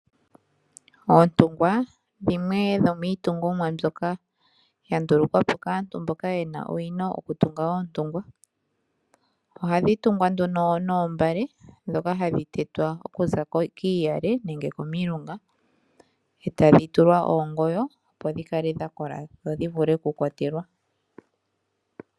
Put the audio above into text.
Oontungwa dhimwe dhomiitungomwa mbyoka ya ndulukwapo kaantu mboka ye na owino yokutunga oontungwa. Ohadhi tungwa nduno noombale ndhoka hadhi tetwa okuza kiiyale nenge komilunga e tadhi tulwa oongoyo opo dhi kale dha kola dho dhi vule okukwatelwa.